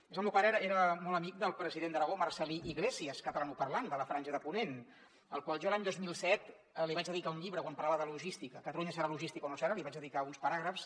a més el meu pare era molt amic del president d’aragó marcel·lí iglesias catalanoparlant de la franja de ponent al qual jo l’any dos mil set li vaig dedicar un llibre quan parlava de logística catalunya serà logística o no seràparàgrafs